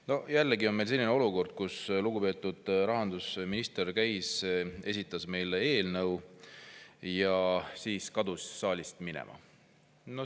No jälle on meil selline olukord, kus lugupeetud rahandusminister käis, esitas meile eelnõu ja siis kadus saalist minema.